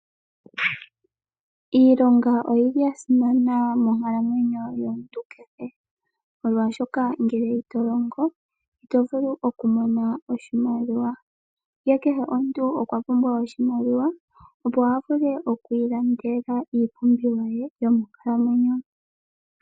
Iilonga oyili yasimana monkalamwenyo yomuntu kehe. Molwashoka ngele ito longo ito vulu oku mona oshimaliwa. Ihe kehe omuntu okwa pumbwa oshimaliwa opo avule oku ilandela iipumbiwa ye yomonkalamwenyo.